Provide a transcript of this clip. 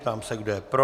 Ptám se, kdo je pro.